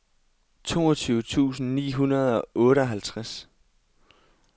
toogtyve tusind ni hundrede og otteoghalvtreds